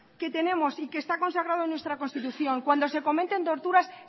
que tenemos y que está consagrado en nuestra constitución cuando se cometen torturas